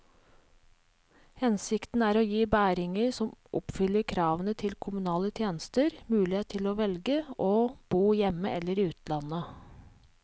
Hensikten er å gi bæringer som oppfyller kravene til kommunale tjenester, mulighet til å velge å bo hjemme eller i utlandet.